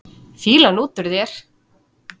Fýlan út úr þér!